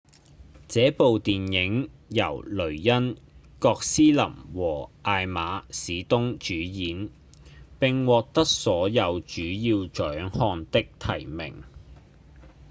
這部電影由雷恩·葛斯林和艾瑪·史東主演並獲得所有主要獎項的提名